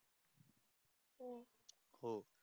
हो.